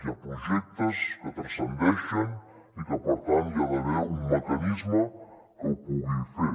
hi ha projectes que transcendeixen i que per tant hi ha d’haver un mecanisme que ho pugui fer